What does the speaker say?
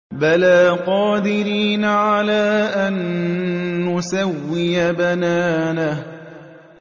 بَلَىٰ قَادِرِينَ عَلَىٰ أَن نُّسَوِّيَ بَنَانَهُ